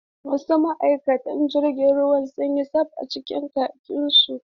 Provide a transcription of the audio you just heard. Wasu ma’aikatan jirgin sun yi tsab a cikin kakinsu.